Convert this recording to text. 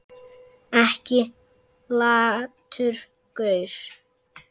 Ekki latur gaur!